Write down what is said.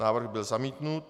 Návrh byl zamítnut.